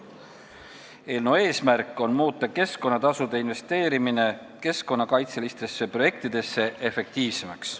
Eelnõu eesmärk on muuta keskkonnatasude investeerimine keskkonnakaitselistesse projektidesse efektiivsemaks.